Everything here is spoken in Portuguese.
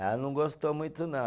Ela não gostou muito não.